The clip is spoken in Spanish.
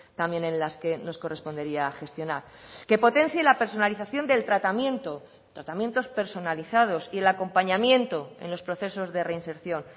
también en las que nos correspondería gestionar que potencie la personalización del tratamiento tratamientos personalizados y el acompañamiento en los procesos de reinserción